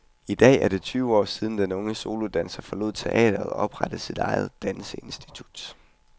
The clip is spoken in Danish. I år er det tyve år siden, den unge solodanser forlod teatret og oprettede sit eget danseinstitut.